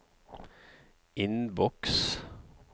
innboks